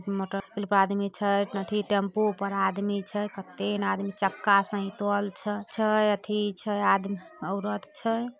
Motor पर आदमी छै एथी टेम्पू पर आदमी छै कते ने आदमी चक्का छे एथि छै आदमी-औरत छै।